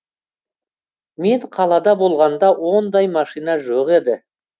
мен қалада болғанда ондай машина жоқ еді